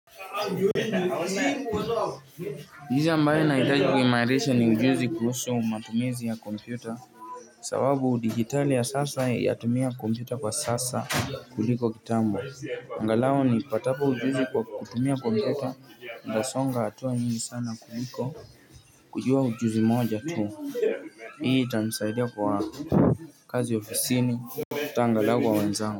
Ujuzi ambayo nahitaji kumairisha ni ujuzi kuhusu matumizi ya kompyuta sababu digitali ya sasa ya tumia kompyuta kwa sasa kuliko kitambo angalau ni patapo ujuzi kwa kutumia kompyuta ntasonga hatua nyingi sana kuliko kujua ujuzi moja tuu hii ita msaidia kwa kazi ofisini hata angalau wa wanzao.